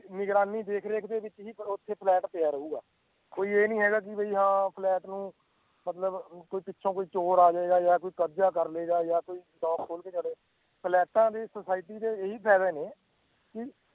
ਨਿਗਰਾਨੀ ਦੇਖ ਰੇਖ ਦੇ ਵਿੱਚ ਹੀ ਉਹ ਉੱਥੇ ਫਲੈਟ ਪਿਆ ਰਹੇਗਾ ਕੋਈ ਇਹ ਨੀ ਹੈਗਾ ਕਿ ਵੀ ਹਾਂ ਫਲੈਟ ਨੂੰ ਮਤਲਬ ਅਮ ਕੋਈ ਪਿੱਛੋਂ ਕੋਈ ਚੋਰ ਆ ਜਾਏਗਾ ਜਾਂ ਕੋਈ ਕਬਜ਼ਾ ਕਰ ਲਏਗਾ ਜਾਂ ਕੋਈ ਫਲੈਟਾਂ ਦੇ society ਦੇ ਇਹੀ ਫ਼ਾਇਦੇ ਨੇ ਕਿ